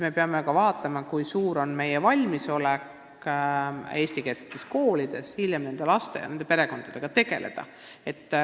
Me peame siis vaatama ka seda, kui suur on meie valmisolek hiljem eestikeelsetes koolides nende laste ja perekondadega tegeleda.